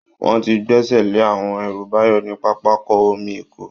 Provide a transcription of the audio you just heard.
Wọ́n ti gbẹ́sẹ̀ lé àwọn ẹrù Báyọ̀ ní pápákọ̀ omi Èkó